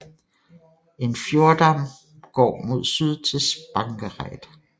En fjordarm går mod syd til Spangereid